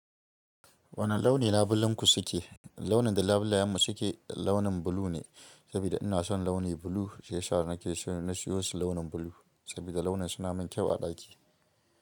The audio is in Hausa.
Wane launi labulenku suke? Launin da labulayenmu suke launin blue ne, saboda ina son launi blue. Shiyasa na ke so na siyo su launi blue saboda launin suna min kyau a ɗaki.